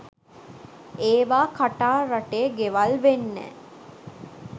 ඒවා කටාර් රටේ ගෙවල් වෙන්නැ?